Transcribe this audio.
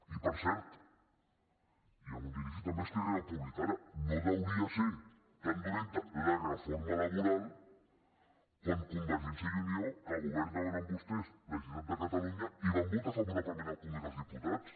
i per cert i em dirigeixo també a esquerra republi·cana no devia ser tan dolenta la reforma laboral quan convergència i unió que governaven amb vostès la generalitat de catalunya hi van votar favorablement al congrés dels diputats